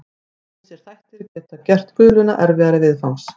Ýmsir þættir geta gert guluna erfiðari viðfangs.